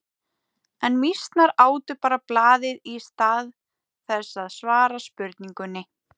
En mýsnar átu bara blaðið í stað þess að svara spurningunni.